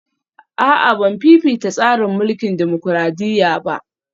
A'a Ban fifita tsarin mulkin dimokradiyya ba